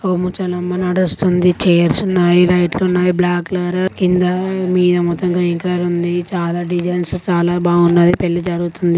పొమ్ము చాలమ్మడనస్తుంది. చేర్స్ ఉన్నాయి. లైట్ లు ఉన్నాయి. బ్లాక్ లారా కింద మీద మొత్తం గ్రీన్ కలర్ ఉంది. చాలా డిజైన్స్ చాలా బాగున్నది. పెళ్లి జరుగుతుంది.